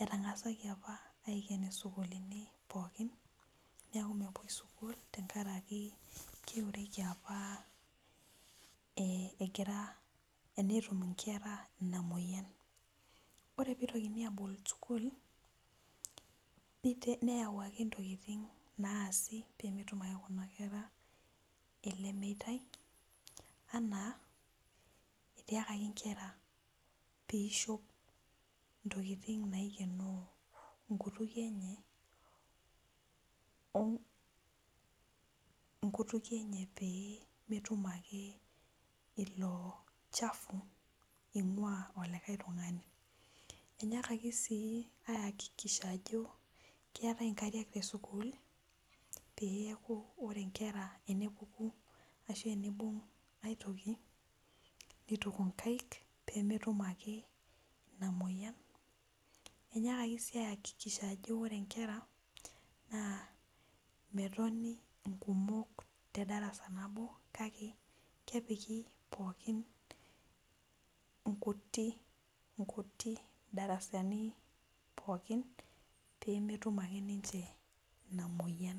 etngasaki apa aiken sukulini pookin neaku mepuoibsukul tenkaraki keureki apae gira enetum inkera inamoyian ore pitokini abol sukul neyau nkera ntokitin naasi pemetum ake kuna kera elemeitai, ana etiakaki nkera peishop ntokitin naikenok nkutukie enye peemetumbake ilo chafu ingua likae tungani, inyiakitia sii aiakikisha ajo keetae nkariak tesukulpeeku ore nkera tenepuku ashu teneibung aitoki nituku nkaik pemetum ake inamoyian inyiakaki si aiakikisha ajo ore nkera na metoni nkumok tedarasa nabo kake kepiki pookin nkuti nkuti darasani pooki pemetum ake ninche inamoyian.